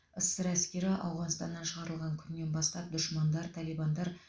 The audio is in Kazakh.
ссср әскері ауғанстаннан шығарылған күннен бастап дұшмандар талибандар